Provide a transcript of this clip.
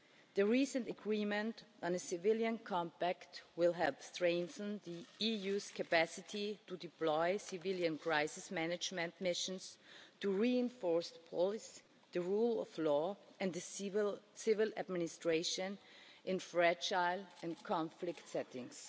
The recent agreement on a Civilian Compact will help strengthen the EU's capacity to deploy civilian crisis management missions, to reinforce the police, the rule of law and the civil administration in fragile and conflict settings.